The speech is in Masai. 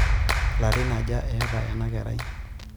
Larin aja eeta ena kerai?